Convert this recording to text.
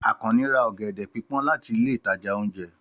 Àkànnì ra ọ̀gẹ̀dẹ̀ pípón láti ilé ìtajà ounjẹ.